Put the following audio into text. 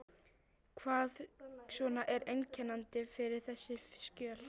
Hvað svona er einkennandi fyrir þessi skjöl?